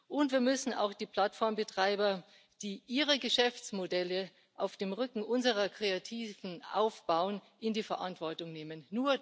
Und wir müssen auch die Plattformbetreiber, die ihre Geschäftsmodelle auf dem Rücken unserer Kreativen aufbauen, in die Verantwortung nehmen.